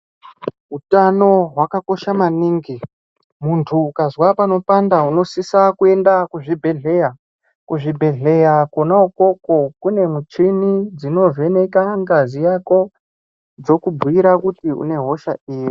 Utano hwakakosha maningi, munthu ukazwa panopanda unosisa kuenda kuzvibhedhleya, kuzvibhedhleya kona ukoko kune michini inovheneka ngazi dzokubhuira kuti une yosha iri.